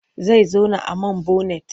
Zai zauna a man bonet.